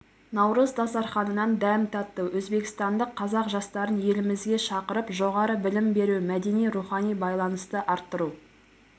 наурыз дастарханынан дәм татты өзбекстандық қазақ жастарын елімізге шақырып жоғары білім беру мәдени-рухани байланысты арттыру